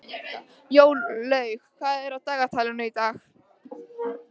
Jórlaug, hvað er á dagatalinu í dag?